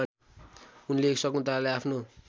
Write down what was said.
उनले शकुन्तलालाई आफ्नो